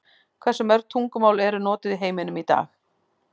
Hversu mörg tungumál eru notuð í heiminum í dag?